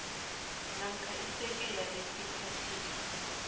namkha isekela lesiphathiswa